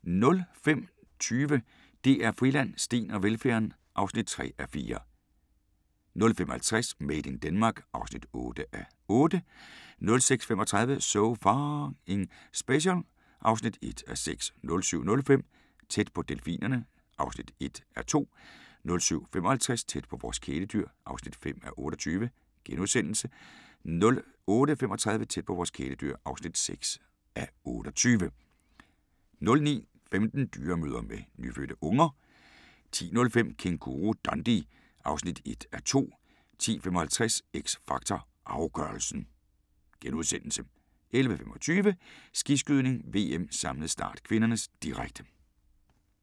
05:20: DR Friland: Steen og velfærden (3:4) 05:50: Made in Denmark (8:8) 06:35: So F***ing Special (1:6) 07:05: Tæt på delfinerne (1:2) 07:55: Tæt på vores kæledyr (5:28)* 08:35: Tæt på vores kæledyr (6:28) 09:15: Dyremødre med nyfødte unger 10:05: Kænguru-Dundee (1:2) 10:55: X Factor Afgørelsen * 11:25: Skiskydning: VM - samlet start (k), direkte